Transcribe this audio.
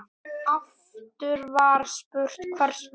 Aftur var spurt: Hvers vegna?